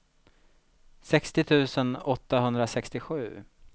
sextio tusen åttahundrasextiosju